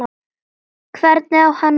Hvernig á hann að vera?